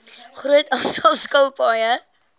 groot aantal skilpaaie